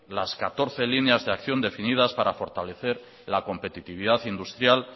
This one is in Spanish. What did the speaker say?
las catorce líneas de acción definidas para fortalecer la competitividad industrial